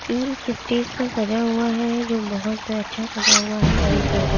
ये एक स्टेज सा सजा हुआ है जो बहुत अच्छा सजा हुआ है ग्रीन कलर का --